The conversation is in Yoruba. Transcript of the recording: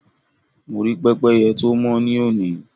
Mo rí pẹ́pẹ́yẹ tó mọ́ ní òní.